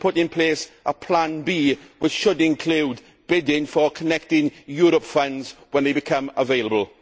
They should put in place a Plan B, which should include bidding for Connecting Europe funds when they become available.